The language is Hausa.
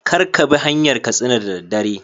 Kar Kabi hanyar katsina da daddare